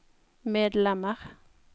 medlemmer